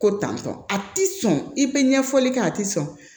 Ko tantɔ a ti sɔn i bɛ ɲɛfɔli kɛ a ti sɔn